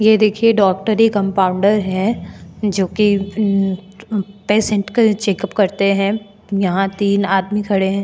यह देखिए doctor compounder है जो की पेशंट का चेकअप करते हैं यहां तीन आदमी खड़े हैं।